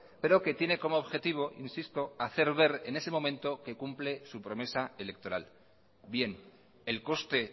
pero que tiene como objetivo insisto hacer ver en ese momento que cumple su promesa electoral bien el coste